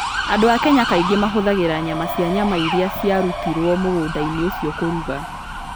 Andũ a Kenya kaingĩ mahũthagĩra nyama cia nyama iria ciarutĩirũo mũgũnda-inĩ ũcio kũruga.